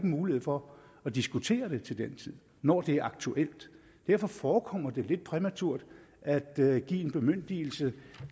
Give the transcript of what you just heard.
mulighed for at diskutere det til den tid når det er aktuelt derfor forekommer det lidt præmaturt at at give en bemyndigelse